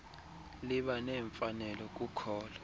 liba nemfanelo kukholo